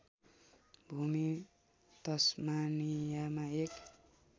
भूमि तस्मानियामा एक